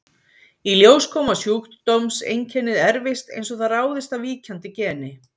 Í ljós kom að sjúkdómseinkennið erfist eins og það ráðist af víkjandi geni.